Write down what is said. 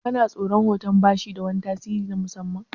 Kana tsoran hoton bashi da wani tasiri na musamman?